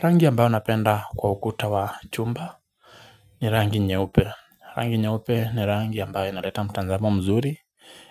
Rangi ambayo napenda kwa ukuta wa chumba ni rangi nyeupe rangi nyeupe ni rangi ambayo inaleta mtazamo mzuri